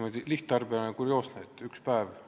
mulle n-ö lihttarbijana kurioosne, et jutt on ühest päevast.